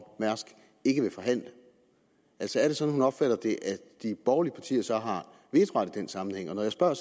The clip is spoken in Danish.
mærsk ikke vil forhandle altså er det sådan hun opfatter det at de borgerlige partier så har vetoret i den sammenhæng når jeg spørger